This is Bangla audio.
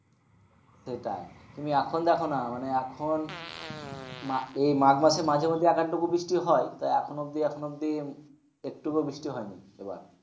সেটাই। তুমি এখন দেখো না মানে এখন এই মাঘ মাসের মাঝে মধ্যেই এক আধটু বৃষ্টি হয় তো এখন অবধি এখন অবধি একটুকো বৃষ্টি হয়নি এবার।